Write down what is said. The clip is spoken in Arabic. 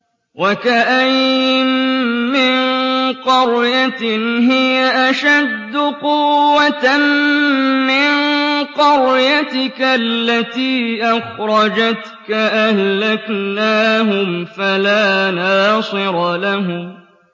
وَكَأَيِّن مِّن قَرْيَةٍ هِيَ أَشَدُّ قُوَّةً مِّن قَرْيَتِكَ الَّتِي أَخْرَجَتْكَ أَهْلَكْنَاهُمْ فَلَا نَاصِرَ لَهُمْ